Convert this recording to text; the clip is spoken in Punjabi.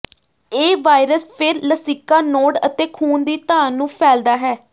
ਇਹ ਵਾਇਰਸ ਫਿਰ ਲਸਿਕਾ ਨੋਡ ਅਤੇ ਖੂਨ ਦੀ ਧਾਰ ਨੂੰ ਫੈਲਦਾ ਹੈ